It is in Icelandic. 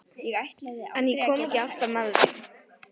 En ég kom ekki alltaf með heim.